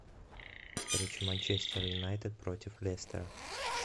встреча манчестер юнайтед против лестера